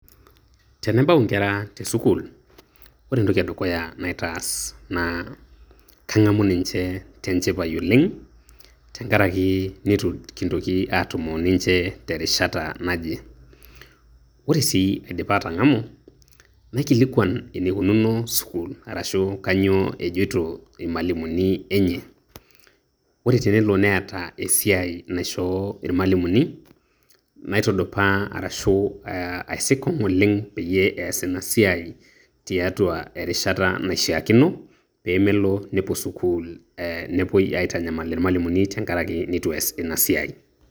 Tenabau nkera tesukuul ore entoki edukuya naitaas naa kang'amu ninche tenchipai oleng' tenkarake nitu nkitoki aatumo oninche terishata naje. Ore sii aidipa atang'amu, naikilikuan eneikununo sukuul arashu kainyoo ejito imalimuni enye. Ore tenelo neeta esiai naishoo irmalimuni, naitudupaa arashu aah aisikong' oleng' peyie ees ina siai tiatua erishata naishiakino peemelo nepuo sukuul eeh nepuo aitanyamal ilmalimuni tenkarake neitu eas ina siai.